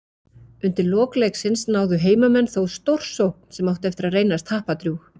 Undir lok leiksins náðu heimamenn þó stórsókn sem átti eftir að reynast happadrjúg.